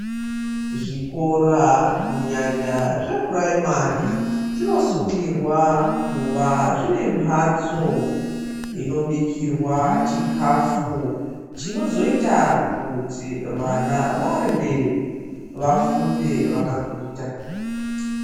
Zvikora kunyanya zvepuraimari zvinosungirwa kuva zvinemhatso inobikirwa chikafu chinozoita kuti vana varye, vafunde vakaguta.